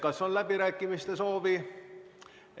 Kas on läbirääkimiste soovi?